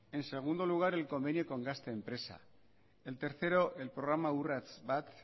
en segundo lugar el convenio con gaztempresa el tercero el programa urrats bat